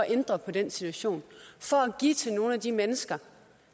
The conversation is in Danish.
at ændre på den situation for at give til nogle af de mennesker